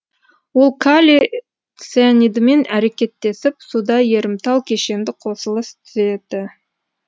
ол калий цианидімен әрекеттесіп суда ерімтал кешенді қосылыс түзеді